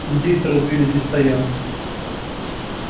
индейцы разбили здесь стоянку